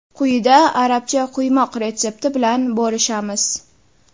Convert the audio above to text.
Quyida arabcha quymoq retsepti bilan bo‘lishamiz.